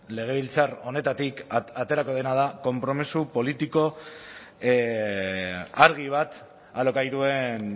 legebiltzar honetatik aterako dena da konpromiso politiko argi bat alokairuen